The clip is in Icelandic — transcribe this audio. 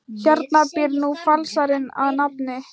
Hérna býr nú falsarinn að nafni